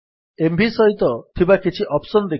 MV ସହିତ ଥିବା କିଛି ଅପ୍ସନ୍ ଦେଖିବା